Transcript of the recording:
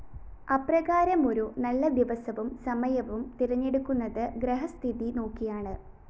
അപ്രകാരമൊരു നല്ല ദിവസവും സമയവും തിരഞ്ഞെടുക്കുന്നത് ഗ്രഹസ്ഥിതി നോക്കിയാണ്